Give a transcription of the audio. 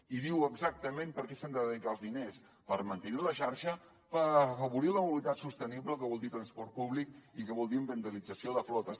i diu exactament per a què s’han de dedicar els diners per mantenir la xarxa per afavorir la mobilitat sostenible que vol dir transport públic i que vol dir ambientalització de flotes